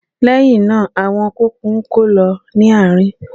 Lẹ́hinna, àwọn kùnkùn ń kó lọ ní àárín.